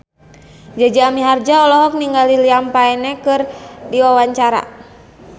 Jaja Mihardja olohok ningali Liam Payne keur diwawancara